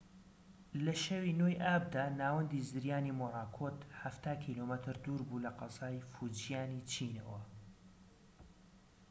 لە شەوی ٩ ی ئابدا، ناوەندی زریانی مۆراکۆت حەفتا کیلۆمەتر دووربوو لە قەزای فوجیانی چینەوە